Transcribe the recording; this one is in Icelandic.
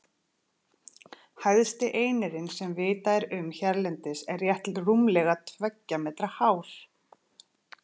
Hæsti einirinn sem vitað er um hérlendis er rétt rúmlega tveggja metra hár.